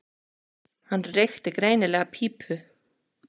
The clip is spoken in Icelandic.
Hann reykti greinilega pípu.